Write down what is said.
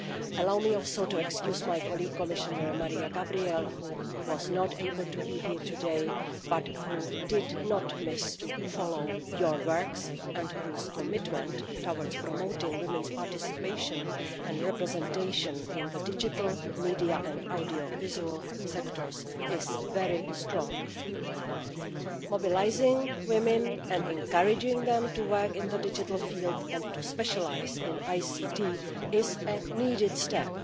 Allow me also to excuse my colleague, Commissioner Maria Gabriel, who is not able to be here today but who made sure to follow your works and whose commitment towards promoting women's participation and representation in the digital, media and audiovisual sectors is very strong. Mobilising women and encouraging them to work in the digital field and to specialise in ICT is a needed step.